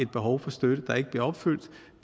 behov for støtte der ikke bliver opfyldt